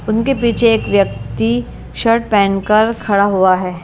उनके पीछे एक व्यक्ति शर्ट पहनकर खड़ा हुआ है ।